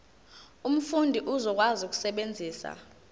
umfundi uzokwazi ukusebenzisa